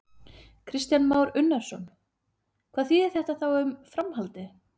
Kristján Már Unnarsson: Hvað þýðir þá þetta um framhaldið?